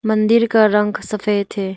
मंदिर का रंग सफेद है।